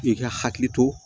I ka hakili to